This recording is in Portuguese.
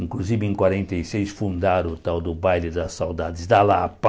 Inclusive, em quarenta e seis, fundaram o tal do Baile da Saudades da Lapa.